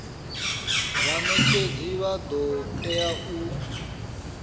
vhanetshedzi vha do tea u